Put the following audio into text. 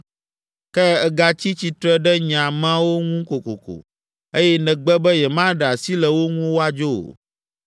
Ke ègatsi tsitre ɖe nye ameawo ŋu kokoko, eye nègbe be yemaɖe asi le wo ŋu woadzo o,